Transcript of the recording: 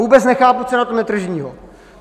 Vůbec nechápu, co je na tom netržního.